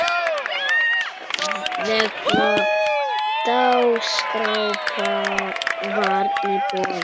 Vegleg dagskrá var í boði.